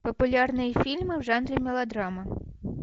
популярные фильмы в жанре мелодрама